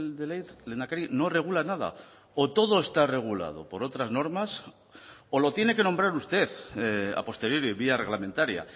de ley lehendakari no regula nada o todo está regulado por otras normas o lo tiene que nombrar usted a posteriori vía reglamentaria